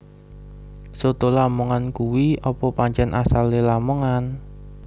Soto lamongan kui opo pancen asale Lamongan?